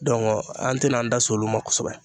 Dɔnku an te na an da s'olu ma kosɛbɛ